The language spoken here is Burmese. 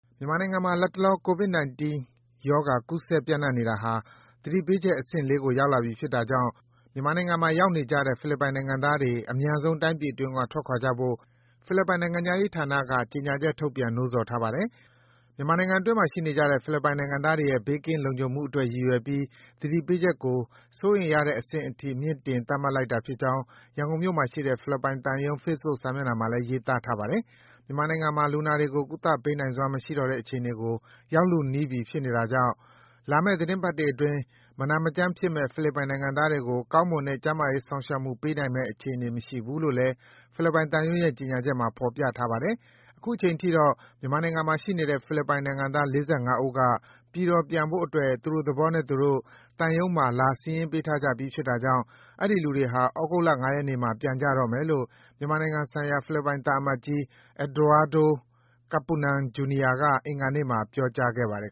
မြန်မာနိုင်ငံမှာ လတ်တလော ကိုဗစ်-၁၉ ရောဂါ ကူးစက်ပြန့်နှံ့နေတာဟာ သတိပေးချက် အဆင့် ၄ ကို ရောက်လာပြီဖြစ်တာကြောင့် မြန်မာနိုင်ငံမှာရောက်နေကြတဲ့ ဖိလစ်ပိုင်နိုင်ငံသားတွေ အမြန်ဆုံး တိုင်းပြည်အတွင်းက ထွက်ခွာကြဖို့ ဖိလစ်ပိုင် နိုင်ငံခြားရေးဝန်ကြီးဌာနက ဒီကနေ့ ကြေညာချက် ထုတ်ပြန် နှိုးဆော်ထားပါတယ်။ မြန်မာနိုင်ငံတွင်းမှာရှိနေကြတဲ့ ဖိလစ်ပိုင်နိုင်ငံသားတွေရဲ့ ဘေးကင်းလုံခြုံမှုအတွက်ရည်ရွယ်ပြီး သတိပေးချက်ကို စိုးရိမ်ရတဲ့အဆင့်အထိ မြှင့်တင် သတ်မှတ်လိုက်တာဖြစ်ကြောင်း ရန်ကုန်မြို့မှာရှိတဲ့ ဖိလစ်ပိုင်သံရုံး Facebook စာမျက်နှာမှာ ရေးသားထားပါတယ်။ မြန်မာနိုင်ငံမှာ လူနာတွေကို ကုသပေးနိုင်စွမ်းမရှိတော့တဲ့ အခြေအနေကို ရောက်လုနီးနေပြီဖြစ်တာကြောင့် လာမယ့် သီတင်းပတ်တွေအတွင်း မနာမကျန်းဖြစ်မယ့် ဖိလစ်ပိုင်နိုင်ငံသားတွေကို ကောင်းမွန်တဲ့ ကျန်းမာရေးစောင့်ရှောက်မှု ပေးနိုင်မယ့်အခြေအနေ မရှိဘူးလို့လည်း ဖိလစ်ပိုင်သံရုံးရဲ့ ကြေညာချက်မှာ ဖော်ပြထားပါတယ်။ အခုချိန်ထိတော့ မြန်မာနိုင်ငံမှာရှိနေတဲ့ ဖိလစ်ပိုင်နိုင်ငံသား ၄၅ ဦးက ပြည်တော်ပြန်ဖို့အတွက် သူ့တို့သဘောနဲ့သူတို့ သံရုံးမှာ လာစာရင်းပေးထားကြပြီးဖြစ်တာကြောင့် အဲဒီလူတွေဟာ သြဂုတ်လ ၅ ရက်နေ့မှာ ပြန်ကြတော့မယ်လို့ မြန်မာနိုင်ငံဆိုင်ရာ ဖိလစ်ပိုင်သံအမတ်ကြီး Eduardo Kapunan, Jr. က အင်္ဂါနေ့မှာ ပြောကြားခဲ့ပါတယ်